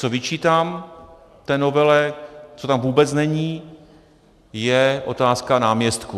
Co vyčítám té novele, co tam vůbec není, je otázka náměstků.